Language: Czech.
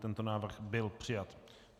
Tento návrh byl přijat.